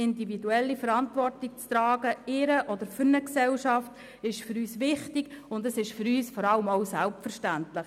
Individuelle Verantwortung zu tragen in der und für die Gesellschaft, ist für uns wichtig, und es ist für uns vor allem auch selbstverständlich.